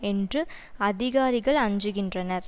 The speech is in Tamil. என்று அதிகாரிகள் அஞ்சுகின்றனர்